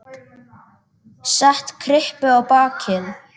Set kryppu á bakið.